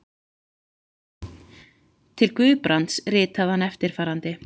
Til Guðbrands ritaði hann eftirfarandi